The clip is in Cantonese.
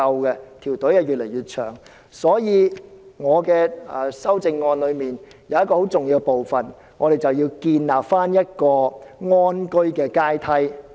因此，我的修正案有一重要部分，就是要建立安居的階梯。